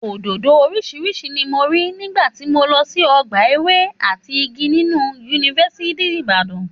Òdòdó oríṣiríṣi ni mo rí nígbà tí mo lọ sí ọgbà ewé àti igi nínú yunifásítì Ìbàdàn